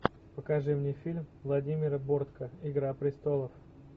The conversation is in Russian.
покажи мне фильм владимира бортко игра престолов